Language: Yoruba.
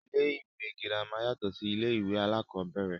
Ilé ìwé girama yàtọ̀ sí ilé ìwé alákọ̀ọ́bẹ̀rẹ̀.